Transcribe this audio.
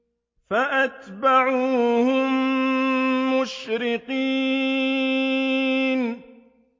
فَأَتْبَعُوهُم مُّشْرِقِينَ